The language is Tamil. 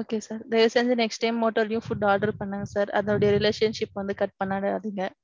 okay sir தயவு செஞ்சு next time motto லேயும் உணவு food order பண்ணுங்க sir. அதோட relationship வந்து கட் பண்ணிராதீங்க.